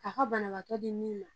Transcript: A ka banabaatɔ di min ma.